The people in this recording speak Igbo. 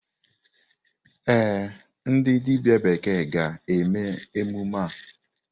Ee, ndị dibịa bekee ga-eme emume a.